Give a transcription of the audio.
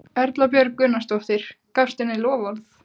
Erla Björg Gunnarsdóttir: Gafstu henni loforð?